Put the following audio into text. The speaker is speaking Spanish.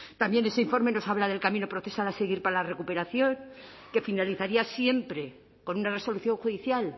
también ese informe nos habla del camino procesal a seguir para la recuperación que finalizaría siempre con una resolución judicial